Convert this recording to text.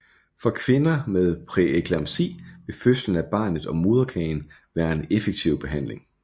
For kvinder med præeklampsi vil fødslen af barnet og moderkagen være en effektiv behandling